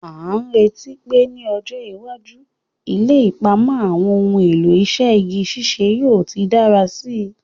A n retí pe ni ọjọ́ iwájú, ilé ìpamọ́ àwọn ohun èlò iṣẹ́ igi ṣíṣe yóò ti dára síi.